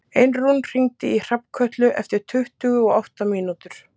Einrún, hringdu í Hrafnkötlu eftir tuttugu og átta mínútur.